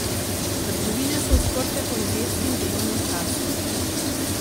Trgovine so odprte po nedeljskem delovnem času.